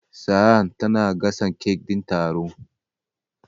Sa'a tana gasa cake din taron.